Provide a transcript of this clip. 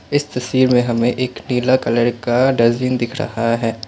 इस तस्वीर मे हमें एक नीला कलर का डस्टबीन दिख रहा है।